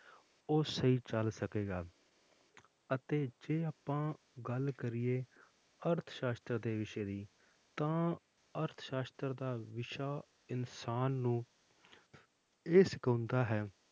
ਉਹ ਸਹੀ ਚੱਲ ਸਕੇਗਾ ਅਤੇ ਜੇ ਆਪਾਂ ਗੱਲ ਕਰੀਏ ਅਰਥ ਸਾਸ਼ਤਰ ਦੇ ਵਿਸ਼ੇ ਦੀ ਤਾਂ ਅਰਥ ਸਾਸ਼ਤਰ ਦਾ ਵਿਸ਼ਾ ਇਨਸਾਨ ਨੂੰ ਇਹ ਸਿਖਾਉਂਦਾ ਹੈ,